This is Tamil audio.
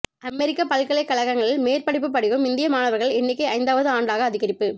அமெரிக்க பல்கலைக்கழகங்களில் மேற்படிப்பு படிக்கும் இந்திய மாணவர்கள் எண்ணிக்கை ஐந்தாவது ஆண்டாக அதிகரிப்பு